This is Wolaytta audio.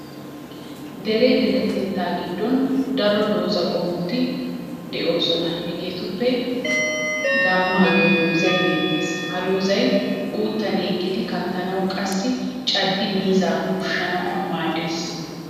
Dere deretettaa giddon daro doozza qommoti he'oosona hegeetuppe gammaa giyo doozay beettes. Ha doozzay uttan yeggidi kattanawu qassi caddidi miizzaa ushshanawu maaddes.